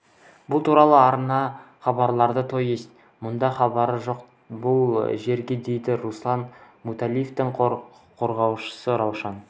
бұл туралы арна хабарлайды то есть мұның хабары жоқ бұл жерге дейді руслан муталиевтің қорғаушысы раушан